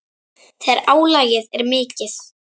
Eins þegar álagið er mikið.